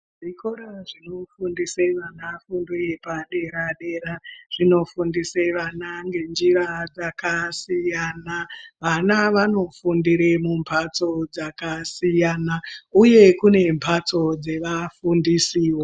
Zvikora zvinofundise vana fundo yepadera-dera zvinofundise vana ngenjira dzakasiyana. Vana vanofundire mumbatso dzakasiyana uye kune mbatso dzevafundisiwo.